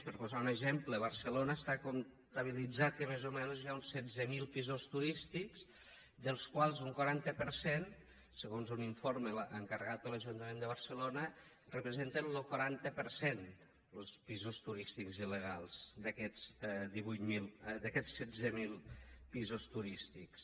per posar un exemple a barcelona està comptabilitzat que més o menys hi ha uns setze mil pisos turístics dels quals un quaranta per cent segons un informe encarregat per l’ajuntament de barcelona representen lo quaranta per cent los pisos turístics il·legals d’aquests setze mil pisos turístics